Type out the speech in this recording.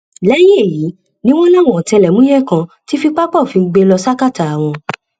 lẹyìn èyí ni wọn láwọn ọtẹlẹmúyẹ kan ti fi pápá òfin gbé e lọ sàkátà wọn